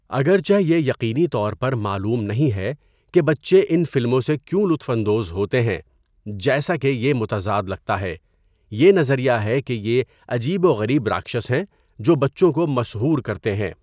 اگرچہ یہ یقینی طور پر معلوم نہیں ہے کہ بچے ان فلموں سے کیوں لطف اندوز ہوتے ہیں جیسا کہ یہ متضاد لگتا ہے، یہ نظریہ ہے کہ یہ عجیب و غریب راکشس ہیں جو بچوں کو مسحور کرتے ہیں.